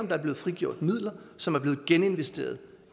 der er blevet frigjort midler som er blevet geninvesteret